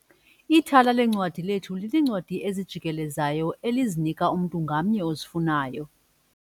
Ithala leencwadi lethu lineencwadi ezijikelezayo elizinika umntu ngamnye ozifunayo.